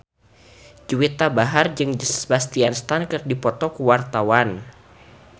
Juwita Bahar jeung Sebastian Stan keur dipoto ku wartawan